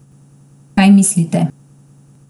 Kaj mislite?